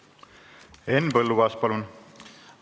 Henn Põlluaas, palun!